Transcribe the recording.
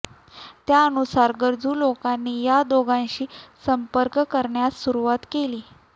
त्यानुसार गरजू लोकांनी या दोघांशी संपर्क करण्यास सुरूवात केली